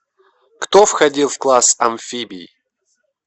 кто входил в класс амфибий